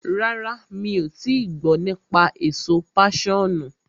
Rárá, mi ò tii gbọ́ nípa èso páṣọ̀nù.